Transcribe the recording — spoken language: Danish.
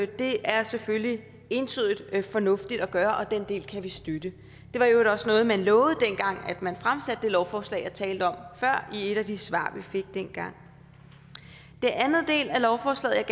det er selvfølgelig entydigt fornuftigt at gøre det og den del kan vi støtte det var i øvrigt også noget man lovede dengang man fremsatte det lovforslag jeg talte om før i et af de svar vi fik dengang den anden del af lovforslaget